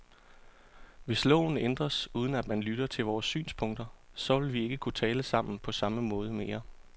Hvis loven ændres, uden at man lytter til vores synspunkter, så vil vi ikke kunne tale sammen på samme måde mere.